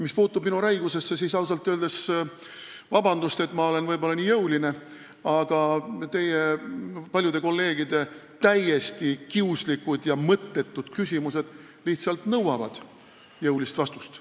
Mis puutub minu räigusesse, siis palun vabandust, et ma olen nii jõuline, aga teie paljude kolleegide täiesti kiuslikud ja mõttetud küsimused lihtsalt nõuavad jõulisi vastuseid.